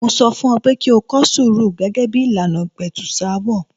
Mo sọ fún ọ pé kí kọ sùúrù gẹ́gẹ́ bí ìlànà ìpẹ̀tùsááwọ̀.